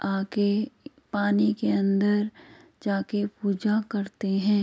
आके पानी के अन्दर जाके पूजा करते हैं ।